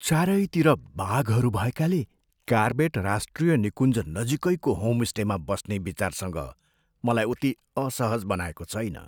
चारैतिर बाघहरू भएकाले कार्बेट राष्ट्रिय निकुञ्ज नजिकैको होमस्टेमा बस्ने विचारसँग मलाई उति असहज बनाएको छैन।